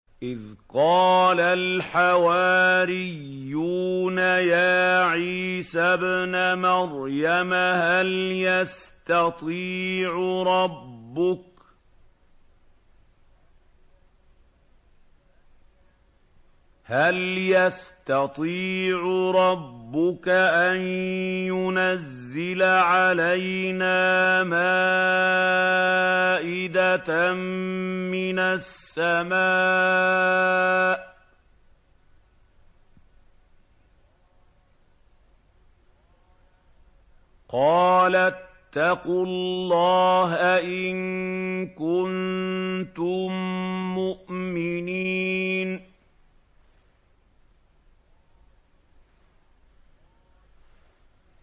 إِذْ قَالَ الْحَوَارِيُّونَ يَا عِيسَى ابْنَ مَرْيَمَ هَلْ يَسْتَطِيعُ رَبُّكَ أَن يُنَزِّلَ عَلَيْنَا مَائِدَةً مِّنَ السَّمَاءِ ۖ قَالَ اتَّقُوا اللَّهَ إِن كُنتُم مُّؤْمِنِينَ